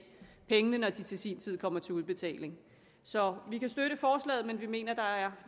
pengene når de til sin tid kommer til udbetaling så vi kan støtte forslaget men vi mener at der er